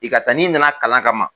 I ka taa n'i na na kalan ka ma